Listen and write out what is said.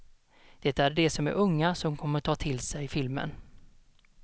Det är de som är unga som kommer att ta till sig filmen.